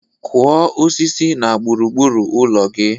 Kụọ osisi na gburu gburu ụlọ gị!